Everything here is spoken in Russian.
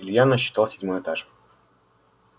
илья насчитал седьмой этаж